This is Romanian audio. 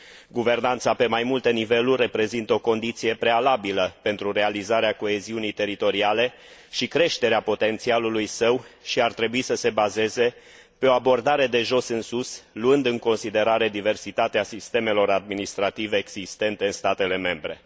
Guvernanța pe mai multe niveluri reprezintă o condiție prealabilă pentru realizarea coeziunii teritoriale și creșterea potențialului său și ar trebui să se bazeze pe o abordare de jos în sus, luând în considerare diversitatea sistemelor administrative existente în statele membre.